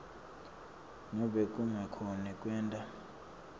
nobe kungakhoni kwenta